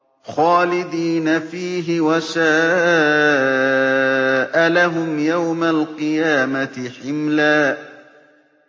خَالِدِينَ فِيهِ ۖ وَسَاءَ لَهُمْ يَوْمَ الْقِيَامَةِ حِمْلًا